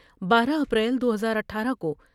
بارہ اپریل دو ہزاار اٹھارہ کو ۔